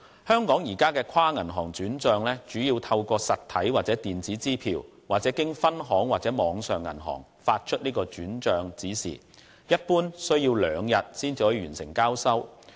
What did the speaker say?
香港現行的跨銀行轉帳，主要透過實體或電子支票，或經分行和網上銀行發出轉帳指示，一般需時兩天才可完成交收。